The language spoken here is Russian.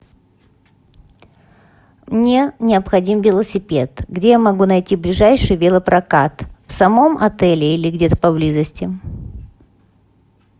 мне необходим велосипед где я могу найти ближайший велопрокат в самом отеле или где то поблизости